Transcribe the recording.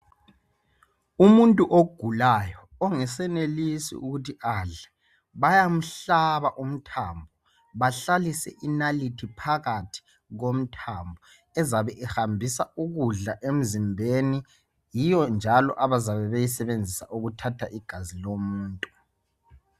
Umuntu ogulayo ongesenelisi ukuthi adle bayamhlaba umthambo bahlalise inalithi phakathi komthambo ezabe ihambisa ukudla emzimbeni. Yiyo njalo abazabe beyizebenzisa ukuthatha igazi lomuntu.